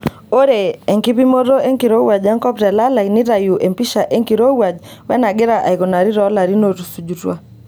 Ore enkipimoto enkirowuaj enkop telalai neitayu empisha enkirowuaj wenagira aikunari toolarin ootusujutua.